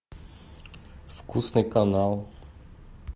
вкусный канал